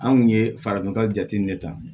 Anw ye farafinka jateminɛ ta